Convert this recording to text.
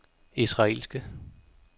israelske